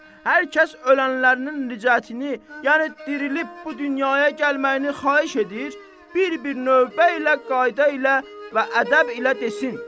Hər kəs ölənlərinin ricətini, yəni dirilib bu dünyaya gəlməyini xahiş edir, bir-bir növbə ilə, qayda ilə və ədəb ilə desin.